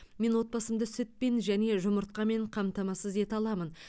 мен отбасымды сүтпен және жұмыртқамен қамтамасыз ете аламын